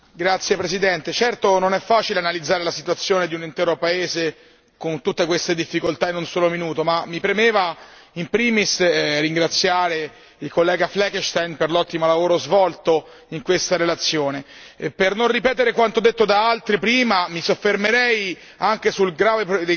Signora Presidente, onorevoli colleghi, certo non è facile analizzare la situazione di un intero paese con tutte queste difficoltà in un solo minuto, ma mi premeva in primis ringraziare l'onorevole Fleckenstein per l'ottimo lavoro svolto in questa relazione e per non ripetere quanto detto da altri prima mi soffermerei anche sul grave